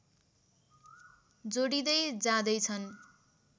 जोडिँदै जाँदैछन्